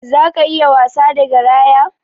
Zaka iya wasa da garaya?